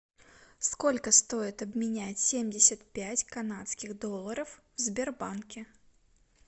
сколько стоит обменять семьдесят пять канадских долларов в сбербанке